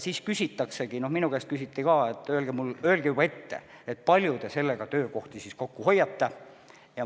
Minu käest küsiti juba varem, et öelge juba ette, kui palju te sellega töökohti kokku hoiate.